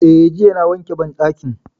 Eh, jiya na wanke banɗakin